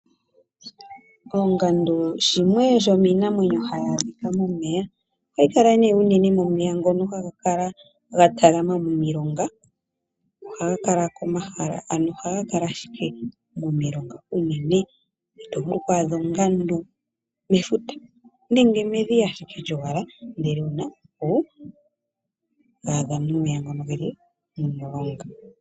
Oongandu shimwe shomiinamwenyo hayi adhika momeya ohayi kala unene momeya ngono haga kala ga talama momilonga ohaga wala momilonga unene ito vulu oku adha ongandu mefuta nenge medhiya ashike lyo wala ndele ouna oku adha omeya ngoka momulonga.